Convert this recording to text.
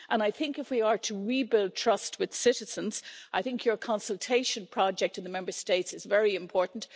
I think if we are to rebuild trust with citizens, I think your consultation project in the Member States is very important.